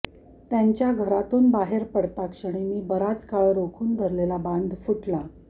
त्यांच्या घरातून बाहेर पडताक्षणी मी बराच काळ रोखून धरलेला बांध फुटला